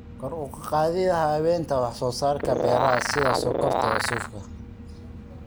Kor u qaadida habaynta wax soo saarka beeraha sida sonkorta iyo suufka.